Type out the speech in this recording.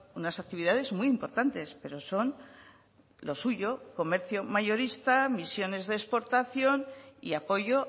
unas actividades muy importantes pero son lo suyo comercio mayorista misiones de exportación y apoyo